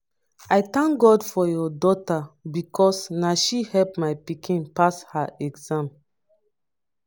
dat woman don make me don make me see god as my maker